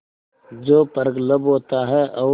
जो प्रगल्भ होता है और